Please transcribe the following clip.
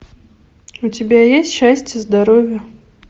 у тебя есть счастье здоровье